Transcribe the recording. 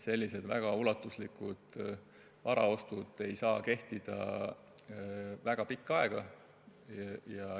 Sellised väga ulatuslikud varaostud ei saa toimida väga pikka aega.